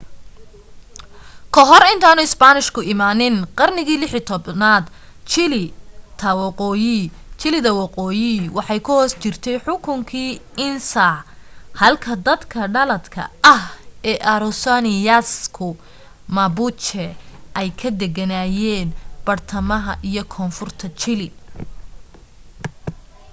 ka hor intaanu isbaanishku imaanin qarnigii 16aad chile ta waqooyi waxay ku hoos jirtay xukunki inca halka dadka dhaladka ah ee araucanians ku mapuche ay ka degenaayeen badhtamaha iyo koonfurta chile